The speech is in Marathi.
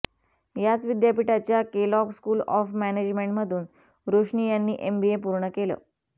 याच विद्यापीठाच्या केलॉग स्कूल ऑफ मॅनेजमेंटमधून रोशनी यांनी एमबीए पूर्ण केलं